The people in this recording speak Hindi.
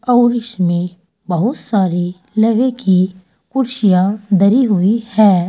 और इसमें बहुत सारे लोहे की कुर्सियां धरी हुई हैं।